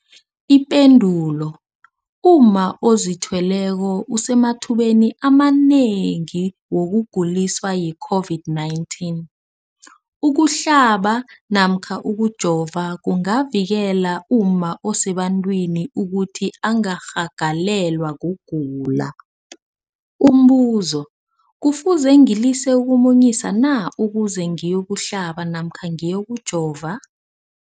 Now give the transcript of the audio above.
Ipendulo, umma ozithweleko usemathubeni amanengi wokuguliswa yi-COVID-19. Ukuhlaba namkha ukujova kungavikela umma osebantwini ukuthi angarhagalelwa kugula. Umbuzo, kufuze ngilise ukumunyisa na ukuze ngiyokuhlaba namkha ngiyokujova?